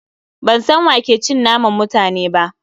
Ban san wa ke cin naman mutane ba